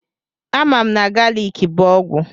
A mam na galiki bụ ọgwụ.